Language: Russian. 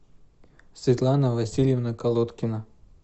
светлана васильевна колодкина